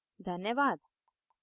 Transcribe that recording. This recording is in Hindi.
इस ट्यूटोरियल को देखने के लिए धन्यवाद